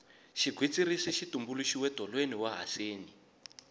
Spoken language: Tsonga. xigwitsirisi xi tumbuluxiwe tolweni wa haseni